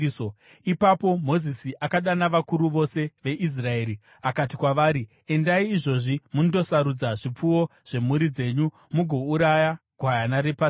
Ipapo Mozisi akadana vakuru vose veIsraeri akati kwavari, “Endai izvozvi mundosarudza zvipfuwo zvemhuri dzenyu mugouraya gwayana rePasika.